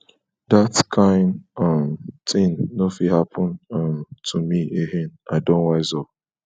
dat kain um tin no fit happen um to me ahain i don wise up